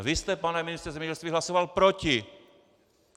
A vy jste, pane ministře zemědělství, hlasoval proti!